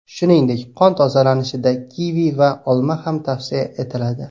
Shuningdek, qon tozalanishida kivi va olma ham tavsiya etiladi.